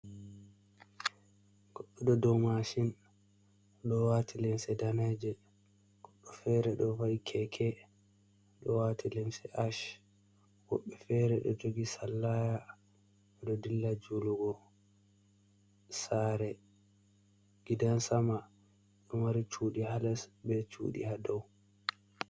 godddo ɗo mashin,o dowati limse daneje, goddo fere do vai'do keke odo wati limse ash. wobbe fere do jogi salaya do dilla julugo. sare, gidan sama ɗo mari cuɗi ha les be chuɗi ha dow.